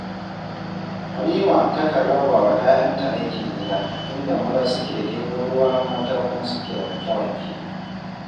Halima takan raba wa 'ya'yanta aikin gida, inda maza suke ɗebo ruwa mata kuma suke wanke-wanke